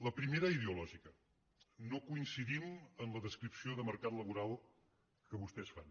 la primera ideològica no coincidim en la descripció de mercat laboral que vostès fan